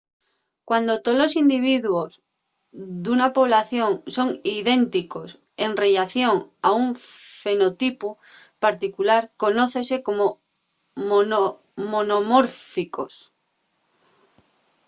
cuando tolos individuos d’una población son idénticos en rellación a un fenotipu particular conócense como monomórficos